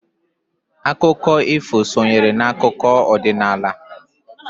Akụkọ ifu sonyere n'akụkọ ọdinnala.